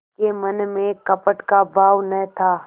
के मन में कपट का भाव न था